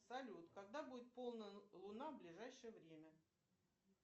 салют когда будет полная луна в ближайшее время